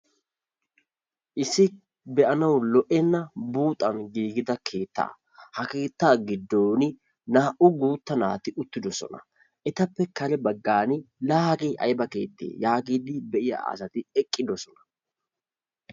Issi be'anawu lo"enna buuxan giigidda keetta, ha keetta giddon naa'u guutta naatti utiddosona. Ettappe kare baggani laa hagge aybba keette giidi be'yaa asatti eqidossona.